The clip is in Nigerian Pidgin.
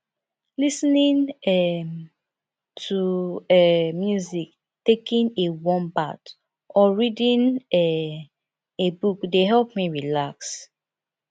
lis ten ing um to um music taking a warm bath or reading um a book dey help me relax